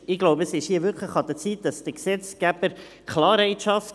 Ich denke, es ist hier wirklich an der Zeit, dass der Gesetzgeber Klarheit schafft.